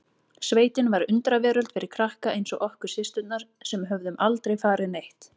Sveitin var undraveröld fyrir krakka eins og okkur systurnar sem höfðum aldrei farið neitt.